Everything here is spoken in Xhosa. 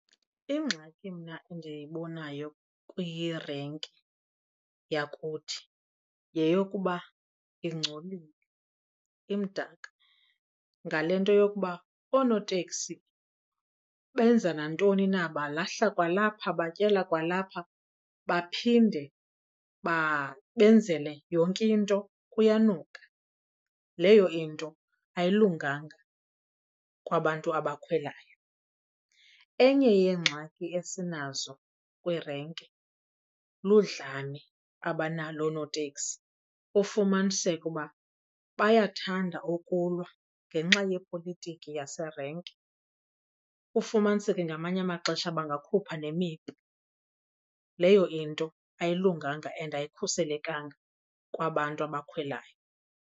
Ingxaki mna endiyibonayo kwirenki yakuthi yeyokuba ingcolile, imdaka, ngale nto yokuba oonoteksi benza nantoni na, balahla kwalapha, batyela kwalapha baphinde benzele yonke into, kuyanuka. Leyo into ayilunganga kwabantu abakhweleyo. Enye yeengxaki esinazo kwirenki ludlame abanalo oonoteksi. Ufumaniseke uba bayathanda ukulwa ngenxa ye yepolitiki yaserenki, ufumaniseke ngamanye amaxesha bangakhupha nemipu. Leyo into ayilunganga and ayikhuselekanga kwabantu abakhwelayo.